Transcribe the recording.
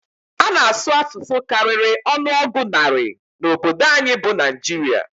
A na-asụ asụsụ karịrị ọnụọgụ narị na obodo anyị bụ Naịjirịa.